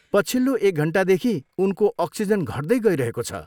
पछिल्लो एक घन्टादेखि उनको अक्सिजन घट्दै गइरहेको छ।